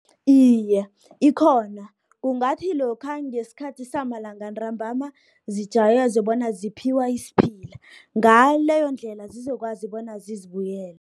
Iye, ikhona kungathi lokha ngesikhathi samalanga ntrambama zijazwe bona ziphiwa isiphila, ngaleyondlela zokwazi bona zizibuyele.